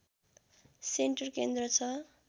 centre केन्द्र छ